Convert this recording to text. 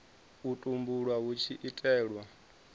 u tumbulwa hu tshi itelwa